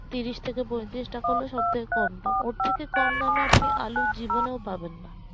তিরিশ থেকে পঁয়ত্রিশ টাকা গুলো সব থেকে কম দাম ওর থেকে কম দামে আপনি আলু জীবনেও পাবেনা